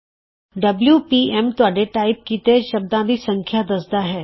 W P M ਤੁਹਾਡੇ type ਕੀਤੇ ਸ਼ਬਦਾਂ ਦੀ ਸੰਖਿਆ ਦੱਸਦਾ ਹੈ